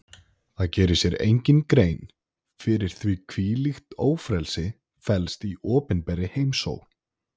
Það gerir sér enginn grein fyrir því hvílíkt ófrelsi felst í opinberri heimsókn.